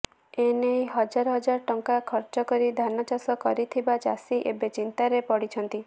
ଏନେଇ ହଜାର ହଜାର ଟଙ୍କା ଖର୍ଚ୍ଚ କରି ଧାନଚାଷ କରିଥିବା ଚାଷୀ ଏବେ ଚିନ୍ତାରେ ପଡ଼ିଛନ୍ତି